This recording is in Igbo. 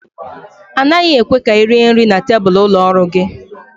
A naghị ekwe ka ị rie nri na tebụl ụlọ ọrụ gị